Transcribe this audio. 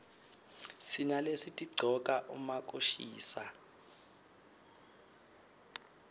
sinalesitigcoka uma kushisa